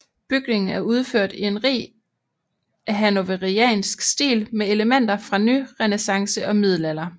Bygningen er udført i en rig hannoveriansk stil med elementer fra nyrenæssance og middelalder